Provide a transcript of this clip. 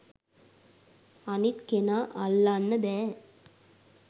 අනිත් කෙනා අල්ලන්න බෑ